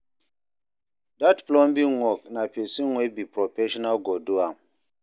Dat plumbing work, na pesin wey be professional go do am.